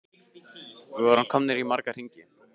Við vorum komnir í marga hringi.